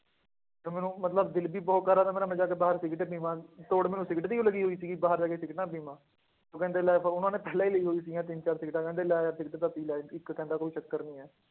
ਤੇ ਮੈਨੂੰ ਮਤਲਬ ਦਿਲ ਵੀ ਬਹੁਤ ਕਰ ਰਿਹਾ ਸੀ ਮੇਰਾ ਮੈਂ ਜਾ ਕੇ ਬਾਹਰ ਸਿਗਰਟ ਪੀਵਾਂ ਤੋੜ ਮੈਨੂੰ ਸਿਗਰਟ ਦੀ ਹੋਈ ਲੱਗੀ ਹੋਈ ਸੀਗੀ ਬਾਹਰ ਜਾ ਕੇ ਸਿਗਰਟਾਂ ਪੀਵਾਂ, ਉਹ ਕਹਿੰਦੇ ਲੈ ਫੜ ਉਹਨਾਂ ਨੇ ਪਹਿਲਾਂ ਹੀ ਲਈ ਹੋਈ ਸੀਗੀਆਂ ਤਿੰਨ ਚਾਰ ਸਿਗਰਟਾਂ ਕਹਿੰਦੇ ਲੈ ਯਾਰ ਸਿਗਰਟ ਤਾਂ ਪੀ ਲੈ, ਇੱਥੇ ਕਹਿੰਦਾ ਕੋਈ ਚੱਕਰ ਨੀ ਹੈ,